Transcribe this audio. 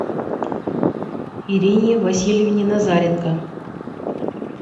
ирине васильевне назаренко